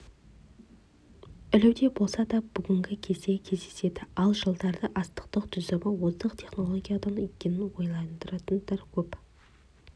ілуде болса да бүгін де кездеседі ал жылдары астықтың түсімі озық технологиядан екенін ойлайтындар көп